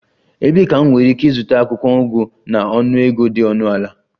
Ebee ka m nwere ike ịzụta akwụkwọ ugu na ọnụego dị ọnụ ala?